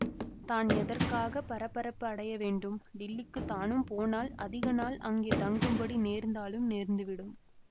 தான் எதற்காக பரபரப்பு அடைய வேண்டும் டில்லிக்குத் தானும் போனால் அதிக நாள் அங்கே தங்கும்படி நேர்ந்தாலும் நேர்ந்துவிடும்